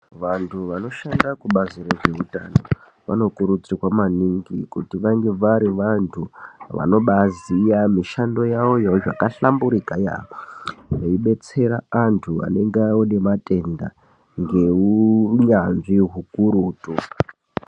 Vantu vashanda kubazi rezveutano vanokuridzirwa maningi kuti vange vari vantu vanobaziya mishando yavoyo zvakahlamburika veibetsera antu vanenge vanematenda ngeuunyanzvi hukurutu